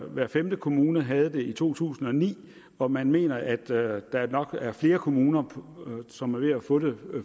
hver femte kommune havde det i to tusind og ni og man mener at der nok er flere kommuner som er ved at få det